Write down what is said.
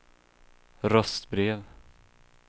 röstbrev